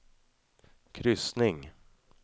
kryssning